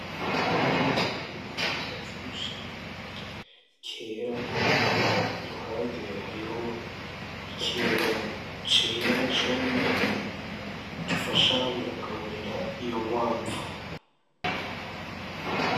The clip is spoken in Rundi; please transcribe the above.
Agakwavu kaboneka ko kavyibushe kera iruhande hariho ikintu cera nacone gifasha mukugaburira iyo nkwavu.